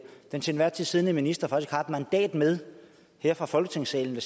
så den til enhver tid siddende minister faktisk har et mandat med her fra folketingssalen